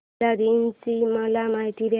महिला दिन ची मला माहिती दे